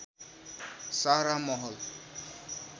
सारा महल